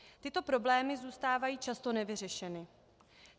Tyto problémy zůstávají často nevyřešeny.